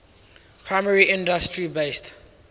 primary industry based